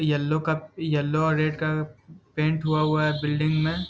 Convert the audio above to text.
yellow का yellow और red का पेंट हुआ है बिल्डिंग में --